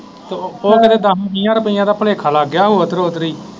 ਤੇ ਉਹ ਉਦੋਂ ਦਸ ਵੀਹਾਂ ਰੁਪਇਆਂ ਦਾ ਭੁਲੇਖਾ ਲੱਗ ਗਿਆ ਉੱਧਰੋ ਉੱਧਰੀ।